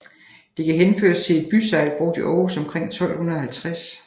Det kan henføres til et bysegl brugt i Aarhus omkring 1250